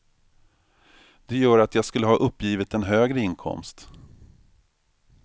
Det gör att jag skulle ha uppgivit en högre inkomst.